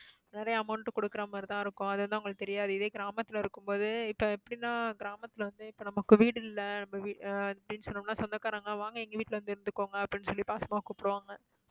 நிறைய amount கொடுக்கறா மாதிரி தான் இருக்கும் அது வந்து அவங்களுக்கு தெரியாது. இதே கிராமத்துல இருக்குபோது இப்போ எப்புடின்னா, கிராமத்துல வந்து இப்போ நமக்கு வீடில்ல நம்ம வீ~ ஆஹ் சொன்னோம்னா சொந்தக்காரங்க வாங்க எங்க வீட்டுல வந்து இருந்துக்கோங்க அப்படின்னு சொல்லி பாசமா கூப்புடுவாங்க.